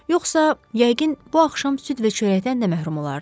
Yoxsa yəqin bu axşam süd və çörəkdən də məhrum olardın.